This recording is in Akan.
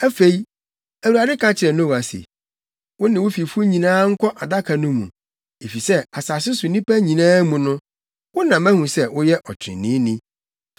Afei, Awurade ka kyerɛɛ Noa se, “Wo ne wo fifo nyinaa nkɔ Adaka no mu, efisɛ asase so nnipa nyinaa mu no, wo na mahu sɛ woyɛ ɔtreneeni.